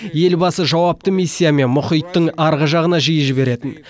елбасы жауапты миссиямен мұхиттың арғы жағына жиі жіберетін